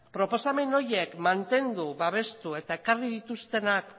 proposamen horiek mantendu babestu eta ekarri dituztenak